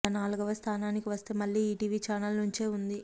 ఇక నాలుగవ స్థానానికి వస్తే మళ్లీ ఈటీవీ ఛానెల్ నుంచే ఉంది